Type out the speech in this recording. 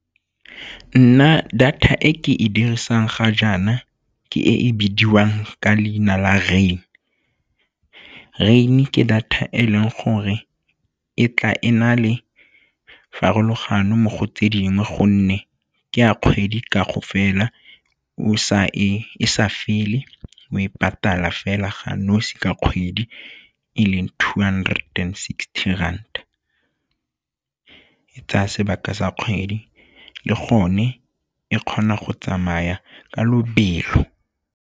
Nna, data e ke e dirisang ga jaana ke e bidiwang ka leina la Rain. Rain ke data e leng gore e tla e na le farologano mo go tse dingwe gonne ke a kgwedi kaofela e sa fele, o e patala fela ga nosi ka kgwedi e leng two hundred and sixty rand, e tsaya sebaka sa kgwedi le gone e kgona go tsamaya ka lobelo.